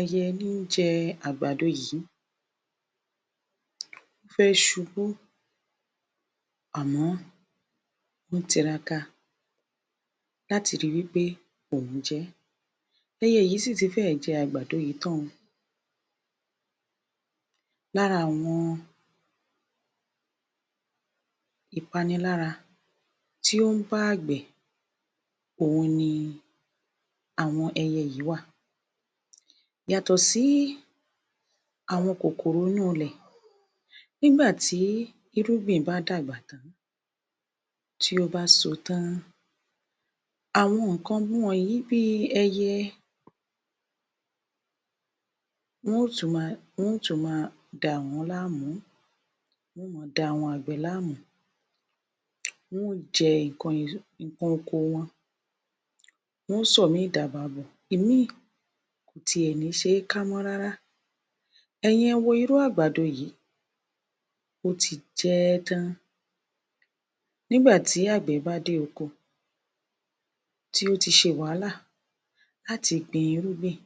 Ẹyẹ ní ń jẹ àgbàdo yìí, Ó fẹ́ subú, àmọ́ ó ń tiraka láti ríi wí pé òun jẹ ẹ́. Ẹyẹ yìí sì ti fẹ́ẹ̀ jẹ ẹ àgbàdo yìí tán o. Lára àwọn ìpanilára tí ó ń bá àgbẹ̀, òhun ni àwọn ẹyẹ yìí wà. Yàtọ̀ sí í àwọn kòkòkò inú ilẹ̀. Nígbàtí irúgbìn bá dàgbà tán, tí ó bá so tán án. Àwọn nǹkan wọ̀nyí bí i ẹyẹ, wọ́n ó tùn máa dà wọ́n láàmú, wọ́n ó máa dà àwọn àgbẹ̀ láàmú. Wọ́n ó jẹ nǹkan oko wọn, wọ́n ó sọ ìmíì di ààbọ̀ààbọ̀, ìmí ì kò ti ẹ̀ ní se é ká mọ́ rárá. Ẹ̀yin ẹwo irú àgbàdo yìí, ó ti jẹ ẹ́ tán. Nígbàtí àgbẹ̀ bá dé oko, tí ó ti ṣe wàhálà láti gbin irúgbìn,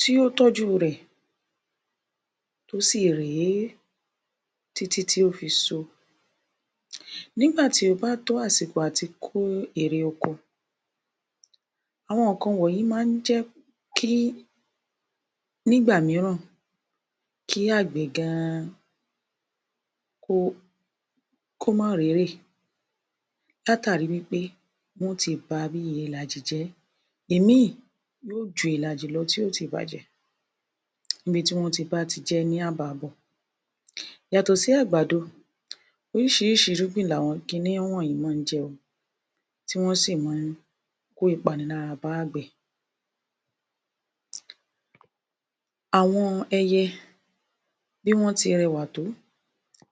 tí ó tọ́jú rẹ̀, tó sì rè é títí tí ó fi so. Nígbàtí ó bá tó àsìkò à ti kó èrè oko, àwọn nǹkan wọ̀nyí maá ń jẹ́ kí, nígbà míràn, kí àgbẹ̀ gan an kó má rérè látàrí wí pé wọ́n ó ti ba bíi ìlàjì jẹ́. Ìmíì yóò ju ìlàjì lọ, tí ó ti bàjẹ́ níbi tí wọ́n báti jẹ ẹ́ ní ààbọ̀ààbọ̀. Yàtọ̀ sí àgbàdo, orísìírísìí irúgbìn l'àwọn kin ní wọ̀nyí maá ń jẹ o, tí wọ́n sì maá ń kó ìpanilára bá àgbẹ̀. Àwọn ẹyẹ, bí wọ́n ti rẹwà tó,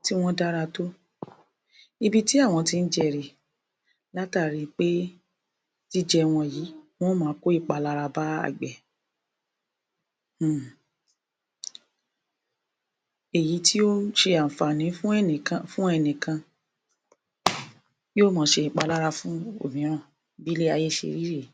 tí wọ́n dára tó, ibi tí àwọn jẹ rè é látàrí pé jíjẹ wọn yìí, wón ó máa kó ìpalára bá àgbẹ̀. Èyí tí ó ṣe àǹfààní fún ẹnìkan, yóo máa ṣe ìpalára fún òmíràn, bí ilé-ayé ṣe rí rè é.